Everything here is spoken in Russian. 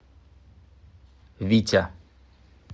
витя